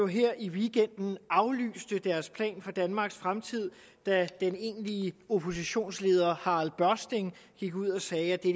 her i weekenden aflyste deres plan for danmarks fremtid da den egentlige oppositionsleder harald børsting gik ud og sagde at det